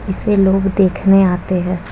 इसे लोग देखने आते है।